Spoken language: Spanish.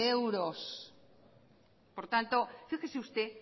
euros por tanto fíjese usted